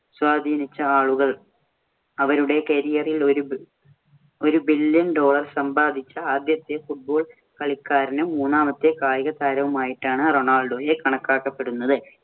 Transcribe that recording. സ്വാധീനിച്ച ആളുകള്‍ അവരുടെ career ഇല്‍ ഒരു billion dollar സമ്പാദിച്ച ആദ്യത്തെ football കളിക്കാരനും, മൂന്നാമത്തെ കായികതാരവുമായിട്ടാണ് റൊണാൾഡോയെ കണക്കാക്കപ്പെടുന്നത്.